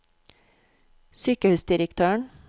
sykehusdirektøren